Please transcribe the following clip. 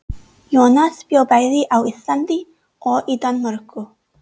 Jónas bjó bæði á Íslandi og í Danmörku.